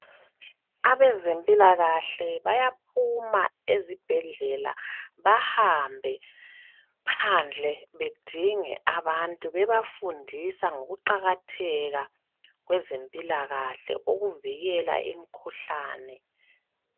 Abezempilakahle bayaphuma ezibhedlela bahambe bedinga abantu bebafundisa ngokuqakatheka kwezempilakale ukuvikela imikhuhlane